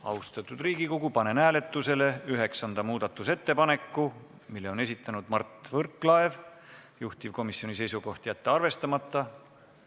Austatud Riigikogu, panen hääletusele üheksanda muudatusettepaneku, mille on esitanud Mart Võrklaev, juhtivkomisjoni seisukoht: jätta arvestamata.